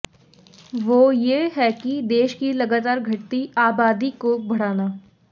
वो ये है कि देश की लगातार घटती आबादी को बढ़ाना